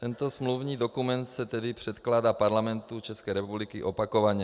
Tento smluvní dokument se tedy předkládá Parlamentu České republiky opakovaně.